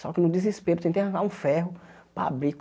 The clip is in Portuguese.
Só que no desespero eu tentei arrancar um ferro para abrir.